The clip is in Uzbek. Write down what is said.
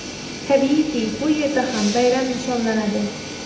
Tabiiyki, bu yerda ham bayram nishonlanadi.